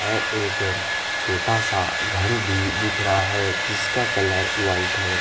और एक छोटा सा घर भी दिख रहा है जिसका कलर व्हाइट है।